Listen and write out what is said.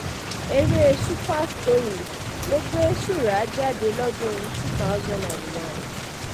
eré super story um ló gbé surah jáde lọ́dún two thousand and one